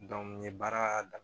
n ye baara daminɛ